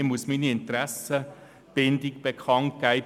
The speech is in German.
Ich muss meine Interessenbindung bekannt geben: